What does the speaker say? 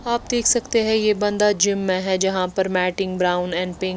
आप देख सकते हैं ये बंदा जिम में हैं जहाँ पर मैटिंग ब्राउन एंड पिंक --